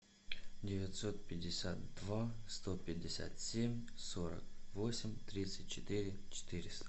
девятьсот пятьдесят два сто пятьдесят семь сорок восемь тридцать четыре четыреста